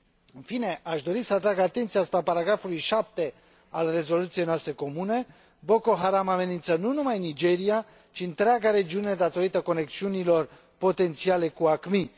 În fine, aș dori să atrag atenția asupra punctului 7 al rezoluției noastre comune Boko Haram amenință nu numai Nigeria, ci întreaga regiune, datorită conexiunilor potențiale cu AQMI.